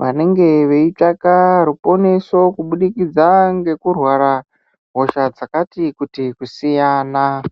vanenge veitsvaka ruponeso kubudikidza ngekurwara hosha dzakati kuti kusiyana.